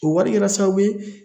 O wari kɛra sababu ye